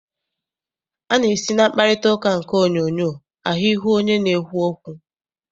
A na-esi na mkparịtaụka nke onyoonyoo ahụ ihu onye na-ekwu okwu.